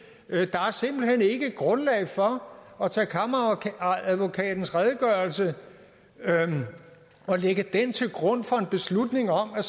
er simpelt hen ikke grundlag for at tage kammeradvokatens redegørelse og lægge den til grund for en beslutning om at